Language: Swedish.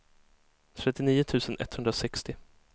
trettionio tusen etthundrasextio